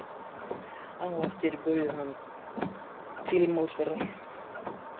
Á eftir bauð hann til málsverðar.